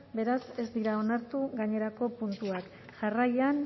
beraz ez dira onartu gainerako puntuak jarraian